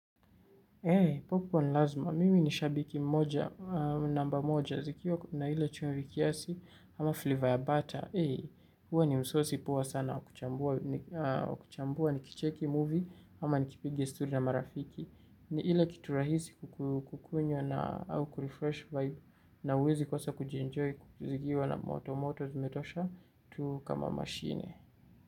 Hey, popcorn lazima, mimi nishabiki mmoja, namba mmoja, zikiwa na hile chumvi kiasi, ama flavor ya butter, hey, huo ni msosi poa sana wa kuchambua wakuchambua, nikicheki movie, ama nikipiga story na marafiki, ni hile kitu rahisi kukunywa na au kurefresh vibe, na huwezi kosa kujienjoy, kuzikiwa na moto, moto zimetosha, tu kama machine.